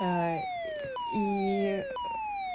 и